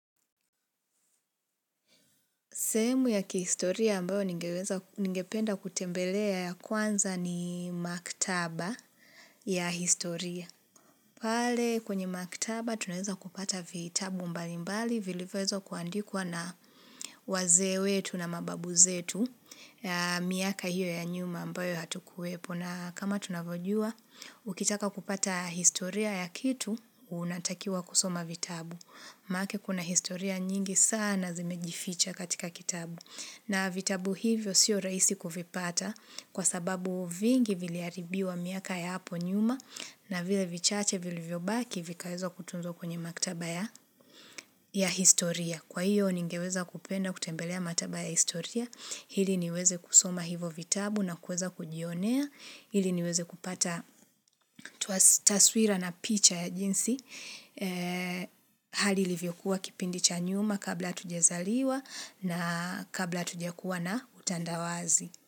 Sehemu ya kihistoria ambao ningeweza, ningependa kutembelea ya kwanza ni maktaba ya historia. Pale kwenye maktaba tunaeza kupata vitabu mbali mbali, vilivyo weza kuandikwa na wazee wetu na mababu zetu, miaka hiyo ya nyuma ambayo hatukuwepo na kama tunavyojua, ukitaka kupata historia ya kitu, unatakiwa kusoma vitabu. Maanake kuna historia nyingi sana zimejificha katika kitabu. Na vitabu hivyo sio rahisi kuvipata kwa sababu vingi viliharibiwa miaka ya hapo nyuma na vile vichache vilivyobaki vikaweza kutunzwa kwenye maktaba ya historia. Kwa hiyo ningeweza kupenda kutembelea maktaba ya historia, hili niweze kusoma hivo vitabu na kuweza kujionea, hili niweze kupata taswira na picha ya jinsi, hali ilivyokuwa kipindi cha nyuma kabla hatujezaliwa na kabla tujakuwa na utandawazi.